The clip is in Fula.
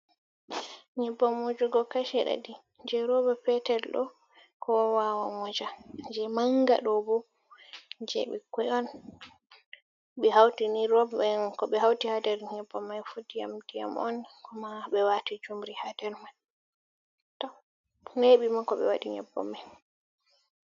Nyebbam wujuugo kashi ɗiɗii je rouba petel ɗo kowa wawan wuja, je manga ɗobo je ɓikkoi'on. Ɓe hautini rob hhmm ko hauti ha nder nyebbam maifu ndiyam ndiyam'on, kuma ɓe wati juumri ha nder hm to neɓiima ko ɓe waaɗi nyebbam mai.